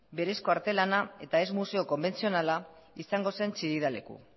berezko artelana eta ez museo konbentzionala izango zen chillida leku